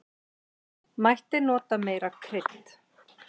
Mætti nota meira krydd.